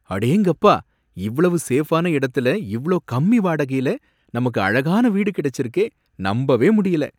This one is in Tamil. அடேங்கப்பா! இவ்வளவு சேஃபான இடத்துல, இவ்ளோ கம்மி வாடகையில நமக்கு அழகான வீடு கிடைச்சிருக்கே! நம்பவே முடியல!